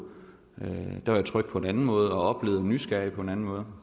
der var jeg tryg på en anden måde og oplevede nysgerrigt på en anden måde